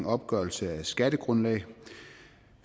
opgørelse af skattegrundlag